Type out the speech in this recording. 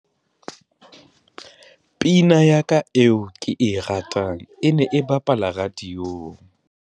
Pina ya ka eo ke e ratang e ne e bapala radiong.